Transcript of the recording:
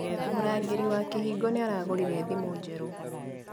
Mũrangĩri wa kĩhingo nĩaragũrire thimũ njerũ